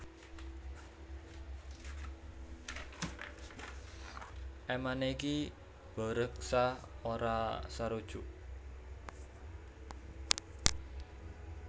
Emane Ki Baureksa ora sarujuk